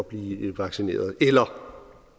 blive vaccineret eller